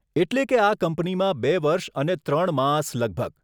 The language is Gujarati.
એટલે કે આ કંપનીમાં બે વર્ષ અને ત્રણ માસ લગભગ.